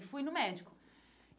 E fui no médico.